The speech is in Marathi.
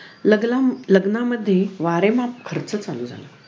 लागलं लग्नामध्ये वारेमाप खर्च चालू झाला.